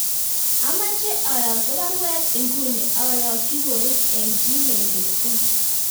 Amoche ayokto baruet inguni ayokyi Korir en gmail.com